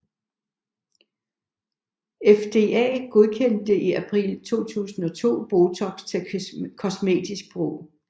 FDA godkendte i april 2002 Botox til kosmetisk brug